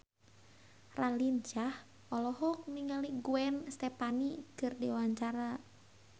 Raline Shah olohok ningali Gwen Stefani keur diwawancara